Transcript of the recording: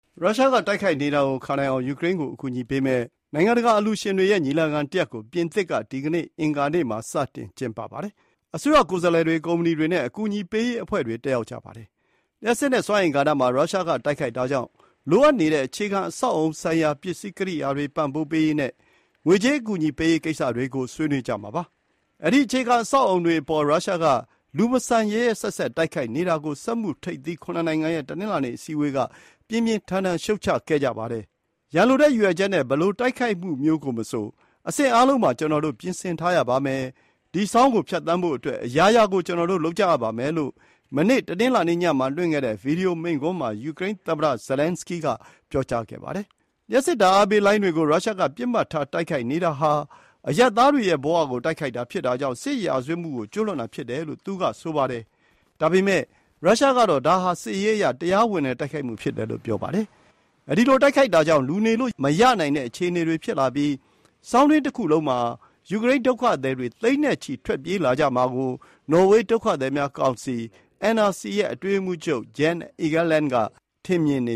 ရုရှားက တိုက်ခိုက်နေတာကိုခံနိုင်အောင် ယူကရိန်းကို အကူအညီပေးမယ့် နိုင်ငံတကာအလှူရှင်တွေရဲ့ ညီလာခံတရပ်ကို ပြင်သစ်က ဒီနေ့အင်္ဂါနေ့မှာ စတင် ကျင်းပပါတယ်။ အစိုးရကိုယ်စားလှယ်တွေ၊ ကုမ္ပဏီတွေနဲ့ အကူအညီပေးရေးအဖွဲ့တွေ တက်ရောက်ကြပါတယ်။ လျှပ်စစ်နဲ့ စွမ်းအင်ကဏ္ဍမှာ ရုရှားက တိုက်ခိုက်တာကြောင့် လိုအပ်နေတဲ့ အခြေခံအဆောက်အအုံဆိုင်ရာ ပစ္စည်း ကိရိယာတွေပံ့ပိုးပေးရေးနဲ့ ငွေကြေးအကူအညီပေးရေးကိစ္စတွေကို ဆွေးနွေးကြမှာပါ။ အဲဒီ အခြေခံ အဆောက်အအုံတွေအပေါ် ရုရှား က “လူမဆန်၊ ရက်ရက်စက်စက်” တိုက်ခိုက်နေတာကို စက်မှုထိပ်သီး ၇ နိုင်ငံရဲ့ တနင်္လာနေ့အစည်းအဝေးက ပြင်းပြင်းထန်ထန် ရှုတ်ချခဲ့ကြပါတယ်။ “ရန်လိုတဲ့ရည်ရွယ်ချက်နဲ့ ဘယ်လို တိုက်ခိုက်မှုမျိုးကိုမဆို အဆင့်အားလုံးမှာ ကျနော်တို့ ပြင်ဆင်ထားရပါမယ်။ ဒီဆောင်းကို ဖြတ်သန်းဖို့အတွက် အရာရာကို ကျနော်တို့လုပ်ကြရပါမယ်” လို့ မနေ့ တနင်္လာနေ့မှာ လွှင့်ခဲ့တဲ့ ဗွီဒီယို မိန့်ခွန်းမှာ ယူကရိန်းသမ္မတ Zelensky က ပြောကြားခဲ့ပါတယ်။ လျှပ်စစ်ဓာတ်အားပေးလိုင်းတွေကို ရုရှားက ပစ်မှတ်ထား တိုက်ခိုက်နေတာဟာ အရပ်သားတွေရဲ့ဘဝကို တိုက်ခိုက်တာဖြစ်တာကြောင့် စစ်ရာဇဝတ်မှုကို ကျူးလွန်တာဖြစ်တယ်လို့ သူက ဆိုပါတယ်။ ဒါပေမဲ့ ရုရှားကတော့ ဒါဟာ စစ်ရေးအရ တရားဝင်တဲ့တိုက်ခိုက်မှု ဖြစ်တယ်လို့ ဆိုပါတယ်။ အဲဒီလို တိုက်ခိုက်တာကြောင့် လူနေလို့မရနိုင်တဲ့အခြေအနေတွေဖြစ်လာပြီး ဆောင်းတွင်းတခုလုံးမှာ ယူကရိန်း ဒုက္ခသည်တွေ သိန်းချီပြီး ထွက်လာကြမှာကို နော်ဝေးဒုက္ခသည်များကောင်စီ (NRC - Norwegian Refugee Council) ရဲ့ အတွင်းရေးမှူးချုပ် Jan Egeland က မြင်န